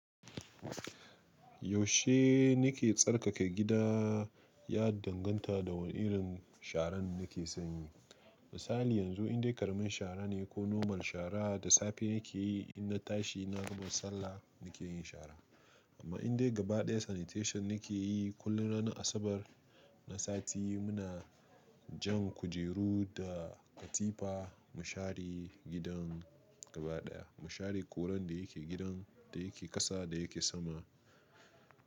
Yaushe nake tsarkaka gida ya danganta da wane irin sharan nake sanyi. Misali yanzu indai karamin shara ne ko normal shara da safe nake yi in na tashi na gama sallah nake yin shara. Amma indai gaba ɗaya sanitation nake yi kullum ranar Asabar na sati muna jan kujeru da katifa mu share gidan gaba ɗaya. Mu share kurar da yake gidan, da yake ƙasa, da yake sama.